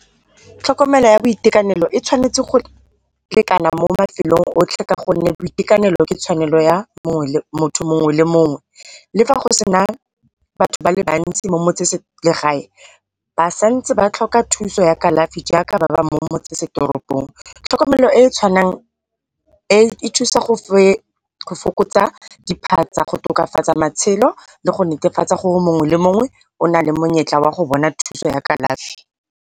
Tlhokomelo ya boitekanelo e tshwanetse go lekana mo mafelong otlhe gonne boitekanelo ke tshwanelo ya motho mongwe le mongwe. Le fa go sena batho ba le bantsi mo motseselegae ba santse ba tlhoka thusa ya kalafi jaaka ba ba mo motsesetoropong. Tlhokomelo e tshwanang e e thusa go fokotsa diphatsa go tokafatsa matshelo le go netefatsa gore mongwe le mongwe o nale monyetla wa go bona thuso ya kalafi.